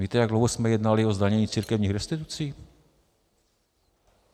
Víte, jak dlouho jsme jednali o zdanění církevních restitucí?